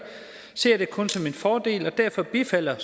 ser jeg det kun som en fordel og derfor bifalder